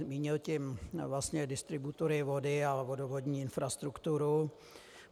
Mínil tím vlastně distributory vody a vodovodní infrastrukturu.